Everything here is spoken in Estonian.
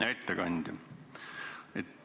Hea ettekandja!